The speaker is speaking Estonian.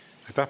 Aitäh!